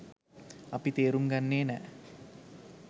අපි තේරුම් ගන්නෙ නෑ.